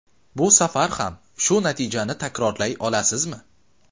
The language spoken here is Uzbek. Bu safar ham shu natijani takrorlay olasizmi?